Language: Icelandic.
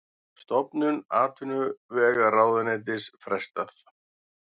Stofnun atvinnuvegaráðuneytis frestað